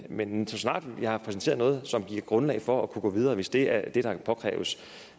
men så snart de har præsenteret noget som giver grundlag for at kunne gå videre hvis det er det der påkræves